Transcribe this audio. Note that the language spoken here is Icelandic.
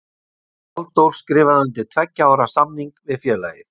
Halldór skrifaði undir tveggja ára samning við félagið.